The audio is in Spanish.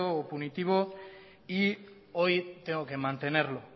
o punitivo y hoy tengo que mantenerlo